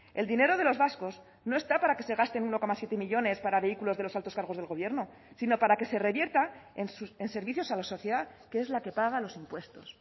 el dinero de los vascos no está para que se gaste en uno coma siete millónes para vehículos de los altos cargos del gobierno sino para que se revierta en servicios a la sociedad que es la que paga los impuestos